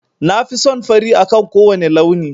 Na fi son fari akan kowane launi.